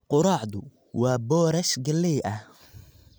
Quraacdu waa boorash galley ah.